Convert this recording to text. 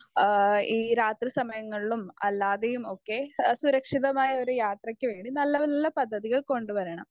Speaker 1 ആ ഈ രാത്രി സമയങ്ങളിലും അല്ലാതെയും ഒക്കെ ഏഹ് സുരക്ഷിതമായ ഒരു യാത്രയ്ക്ക് വേണ്ടി നല്ല നല്ല പദ്ധതികൾ കൊണ്ടുവരണം.